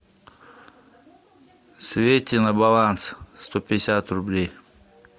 свете на баланс сто пятьдесят рублей